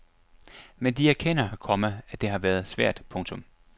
Men de erkender, komma at det har været svært. punktum